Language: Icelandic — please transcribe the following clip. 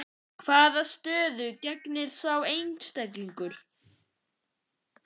Hvaða stöðu gegnir sá einstaklingur?